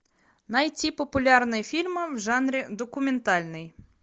найти популярные фильмы в жанре документальный